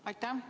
Aitäh!